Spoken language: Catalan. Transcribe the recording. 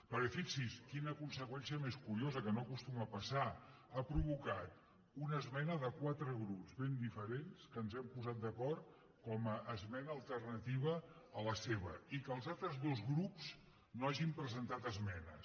perquè fixi’s quina conseqüència més curiosa que no acostuma a passar ha provocat una esmena de quatre grups ben diferents que ens hem posat d’acord com a esmena alternativa a la seva i que els altres dos grups no hagin presentat esmenes